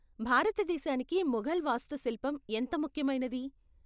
భారతదేశానికి ముఘల్ వాస్తుశిల్పం ఎంత ముఖ్యమైనది?